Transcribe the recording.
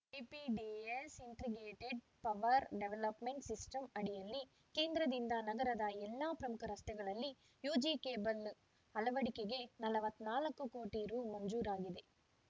IPDS integrated power development system ಅಡಿಯಲ್ಲಿ ಕೇಂದ್ರದಿಂದ ನಗರದ ಎಲ್ಲಾ ಪ್ರಮುಖ ರಸ್ತೆಗಳಲ್ಲಿ ಯುಜಿ ಕೇಬಲ್‌ ಅಳವಡಿಕೆಗೆ ನಲವತ್ತ್ ನಾಲ್ಕ ಕೋಟಿ ರು ಮಂಜೂರಾಗಿದೆ